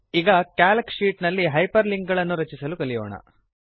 ಈಗ Calc sheet ನಲ್ಲಿ hyperlink ಗಳನ್ನು ರಚಿಸಲು ಕಲಿಯೋಣ